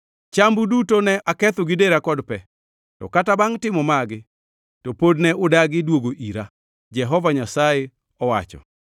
Chambu duto ne aketho gi dera kod pe, to kata bangʼ timo magi to pod ne udagi duogo ira,’ Jehova Nyasaye owacho.